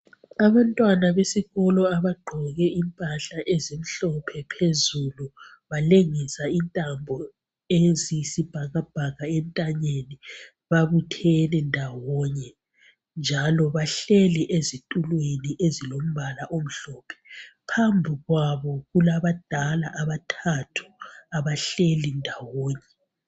Abantwana besikolo abagqoke impahla ezimhlophe phezulu balengisa intambo eziyisibhakabhaka entanyeni babuthene ndawonye njalo bahleli ezitulweni ezilombala omhlophe. Phambikwabo kulabadala abathathu abahleli ndawonye.